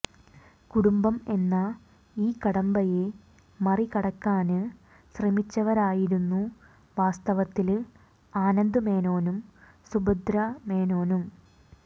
കുടുംബം എന്ന ഈ കടമ്പയെ മറികടക്കാന് ശ്രമിച്ചവരായിരുന്നു വാസ്തവത്തില് ആനന്ദ് മേനോനും സുഭദ്രാമേനോനും